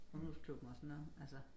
Ungdomsklubben og sådan noget altså